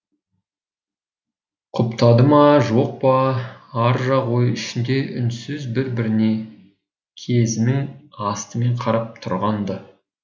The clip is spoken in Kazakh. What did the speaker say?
құптады ма жоқ па аржақ ойы ішінде үнсіз бір біріне кезінің астымен қарап тұрған ды